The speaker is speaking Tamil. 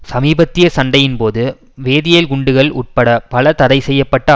சமீபத்திய சண்டையின் போது வேதியல் குண்டுகள் உட்பட பல தடை செய்ய பட்ட